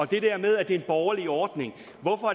det der med at det er en borgerlig ordning